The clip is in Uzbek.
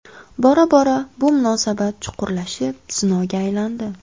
Bora-bora bu munosabat chuqurlashib, zinoga aylandi.